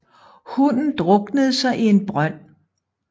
Hunden druknede sig i en brønd